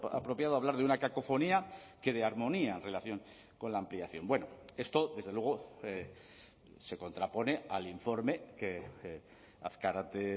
apropiado hablar de una cacofonía que de armonía en relación con la ampliación bueno esto desde luego se contrapone al informe que azkarate